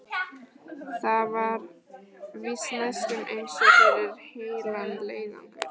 Það var víst næstum eins og fyrir heilan leiðangur.